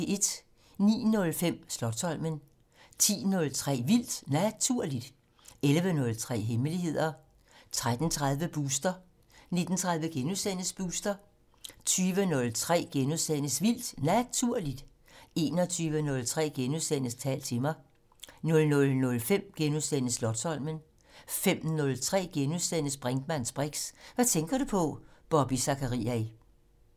09:05: Slotsholmen 10:03: Vildt Naturligt 11:03: Hemmeligheder 13:30: Booster 19:30: Booster * 20:03: Vildt Naturligt * 21:03: Tal til mig * 00:05: Slotsholmen * 05:03: Brinkmanns briks: Hvad tænker du på? Bobby Zachariae *